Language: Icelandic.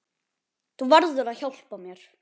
Þú verður að hjálpa mér.